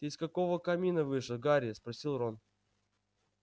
ты из какого камина вышел гарри спросил рон